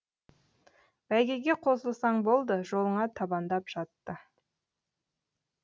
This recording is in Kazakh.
бәйгеге қосылсаң болды жолыңа табандап жатты